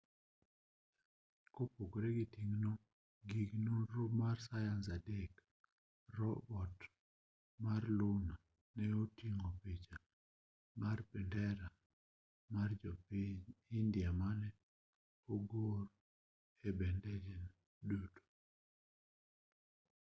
kopogore gi ting'o gig nonro mar sayans adek robot mar luna ne oting'o picha mar bendera mar piny india mane ogor e bethene duto